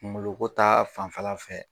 Kungoloko ta fanfɛla fɛ.